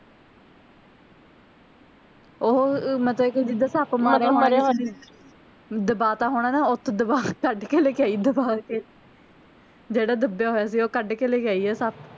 ਓਹੋ ਮਤਲਬ ਜਿੱਦਾਂ ਸੱਪ ਮਾਰਿਆ ਹੋਣਾ ਦਬਾ ਤਾਂ ਹੋਣਾ ਨਾ ਓਥੇ ਦਬਾ ਕੱਢ ਕੇ ਲੈ ਕੇ ਆਈ ਦਬਾ ਕੇ ਜਿਹੜਾ ਦਬਿਆ ਹੋਇਆ ਸੀ ਓਹ ਕੱਢ ਕੇ ਲੈ ਕੇ ਆਈ ਓਹ ਸੱਪ